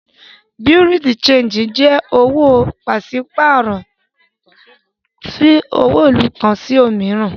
Bureau de change jé òwò pàṣípàrọ̀ owo ìlú kan sí òmíràn.